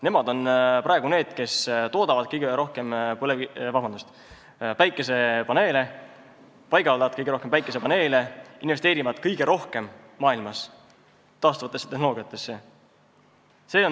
Nemad on praegu need, kes toodavad ja paigaldavad kõige rohkem päikesepaneele ning investeerivad kõige rohkem maailmas taastuvatesse tehnoloogiatesse.